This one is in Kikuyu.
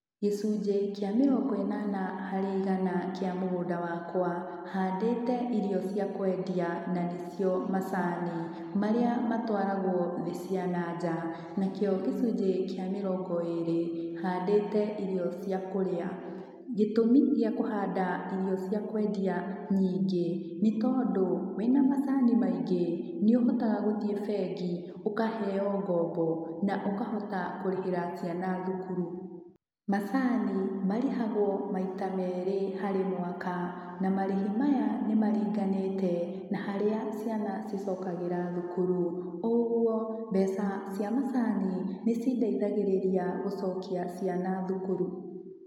Gĩcunjĩ kĩa mĩrongo ĩnana harĩ igana kĩa mũgũnda wakwa, handĩte irio cia kwendia na nĩ cio macani, marĩa matwaragwo thĩ cia nanja. Na kĩo gĩcunjĩ kĩa mĩrongo ĩrĩ, handĩte irio cia kũrĩa. Gĩtũmi gĩa kũhanda irio cia kwendia nyingĩ, nĩ tondũ, wĩna macani maingĩ nĩ ũhotaga gũthiĩ bengi, ũkaheo ngombo, na ũkahota kũrĩhĩra ciana thukuru. Macani marĩhagwo maita merĩ harĩ mwaka, na marĩhi maya, nĩ maringanĩte na harĩa ciana cicokagĩra thukuru. Ũguo, mbeca cia macani, nĩ cĩndeithagĩrĩria gũcokia ciana thukuru.